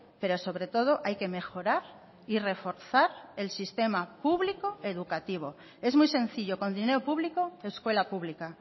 pero sobre todo hay que mejorar y reforzar el sistema público educativo es muy sencillo con dinero público escuela pública